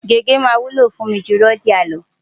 Gègé máa wúlò fún mi ju Rodiah lọ.